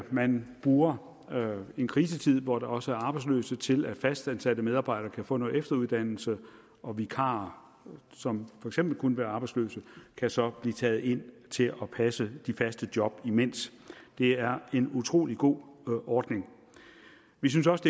man bruger en krisetid hvor der også er arbejdsløshed til at fastansatte medarbejdere kan få noget efteruddannelse og vikarer som for eksempel kunne være arbejdsløse kan så blive taget ind til at passe de faste job imens det er en utrolig god ordning vi synes også